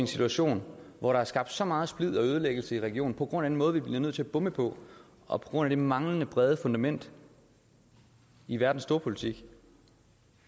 situation hvor der er skabt så meget splid og ødelæggelse i regionen på grund af den måde vi bliver nødt til at bombe på og på grund af det manglende brede fundament i verdens storpolitik